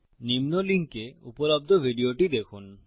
নিম্ন লিঙ্কে উপলব্ধ ভিডিওটি দেখুন